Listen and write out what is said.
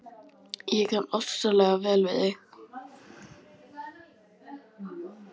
Ég kann ofsalega vel við þig